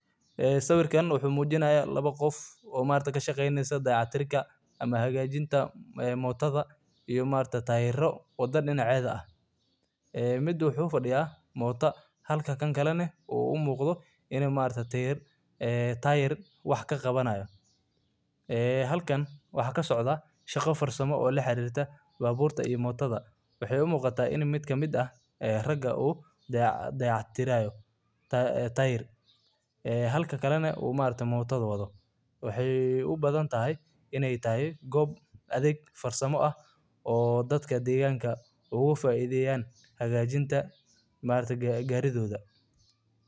waa nooc gaadiid ah oo mootooyin ah oo aad caan uga ah magaalooyinka iyo baadiyaha Kenya, gaar ahaan meelaha ay gaadiidka dadweynaha caadiga ahi ku yar yihiin ama aysan si wanaagsan u shaqeynayn; waxay noqdeen xal muhiim ah oo dadka u suurtageliya inay si dhaqso leh oo raaxo leh ugu safraan meelaha u dhexeeya, gaar ahaan waddooyinka cidhiidhiga ah iyo goobaha aan gaadiidka weynu si fudud uga shaqeyn karin.